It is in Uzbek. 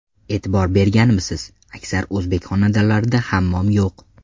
E’tibor berganmisiz: aksar o‘zbek xonadonlarida hammom yo‘q.